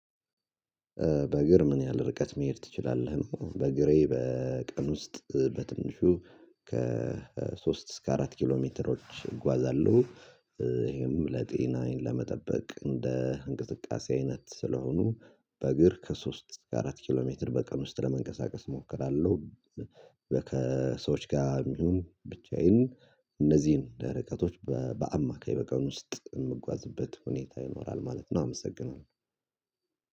በእግር ምን ያህል ርቀት መሄድ ትችላለህ? በእግሬ በቀን ውስጥ በትንሹ እስከ አራት ኪሎ ሜትሮች እጓዛለሁ። ይሄም ለጤናዬን ለመጠበቅ እንደ እንቅስቃሴ አይነት ስለሆኑ። በእግር ከሶስት አራት ኪሎ ሜትር በቀን ውስጥ ለመንቀሳቀስ እሞክራለሁ። ከሰዎች ጋር ይሁን ብቻዬን። እነዚህን እንደ ርቀቶች በአማካይ በቀን ውስጥ የምጓዝበት ሁኔታ ይኖራል ማለት ነው። አመሰግናለሁ።